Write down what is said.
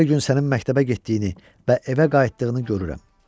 Hər gün sənin məktəbə getdiyini və evə qayıtdığını görürəm.